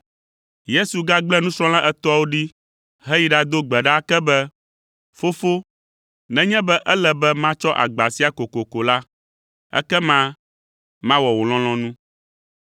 Yesu gagblẽ nusrɔ̃la etɔ̃awo ɖi heyi ɖado gbe ɖa ake be, “Fofo, nenye be ele be matsɔ agba sia kokoko la, ekema mawɔ wò lɔlɔ̃nu.”